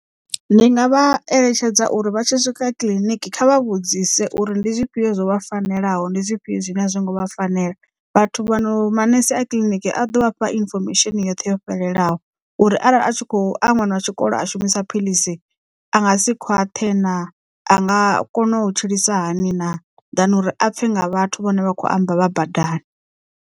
Ndi nga vha eletshedza uri vha tshi swika kiḽiniki kha vha vhudzise uri ndi zwifhio zwo vha fanelaho ndi zwifhio zwine a zwi ngo vha fanela vhathu vha no manese a kiḽiniki a ḓo vhafha infomesheni yoṱhe yo fhelelaho uri arali a tshi kho a ṅwana wa tshikolo a shumisa phiḽisi a nga si khwaṱhe naa? a nga kona u tshilisa hani naa? than uri a pfhe nga vhathu vhane vha kho amba vha badani.